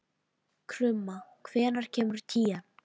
Krumma, hvenær kemur tían?